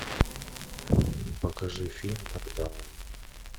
покажи фильм нокдаун